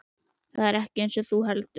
Það er ekkert eins og þú heldur.